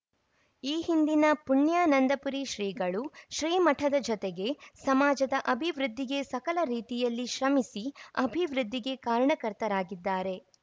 ಈ ಹಿಂದಿನ ಪುಣ್ಯಾನಂದಪುರಿ ಶ್ರೀಗಳು ಶ್ರೀಮಠದ ಜತೆಗೆ ಸಮಾಜದ ಅಭಿವೃದ್ಧಿಗೆ ಸಕಲ ರೀತಿಯಲ್ಲಿ ಶ್ರಮಿಸಿ ಅಭಿವೃದ್ಧಿಗೆ ಕಾರಣಕರ್ತರಾಗಿದ್ದಾರೆ